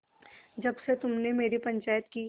जब से तुमने मेरी पंचायत की